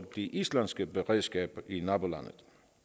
det islandske beredskab i nabolandet